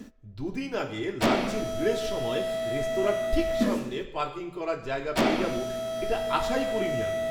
দু দিন আগে, লাঞ্চের ভিড়ের সময়ে রেস্তোরাঁর ঠিক সামনে পার্কিং করার জায়গা পেয়ে যাব এটা আশাই করিনি আমি!